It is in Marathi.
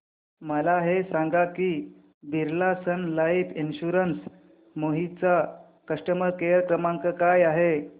मला हे सांग की Birla sun life insurance Kohima चा कस्टमर केअर क्रमांक काय आहे